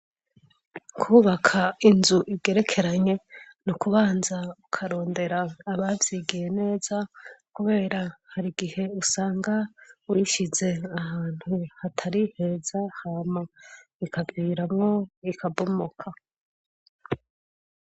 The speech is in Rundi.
Kubaka inzu ibwerekeranye ni ukubanza ukarondera abavyigiye neza, kubera hari igihe usanga wishize ahantu hatari heza hama, ikagiiramo ikabumoka.